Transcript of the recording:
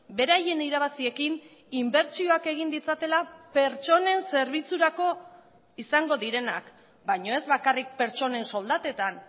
beraien irabaziekin inbertsioak egin ditzatela pertsonen zerbitzurako izango direnak baina ez bakarrik pertsonen soldatetan